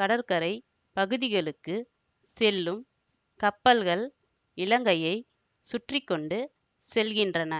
கடற்கரை பகுதிகளுக்குச் செல்லும் கப்பல்கள் இலங்கையை சுற்றி கொண்டு செல்கின்றன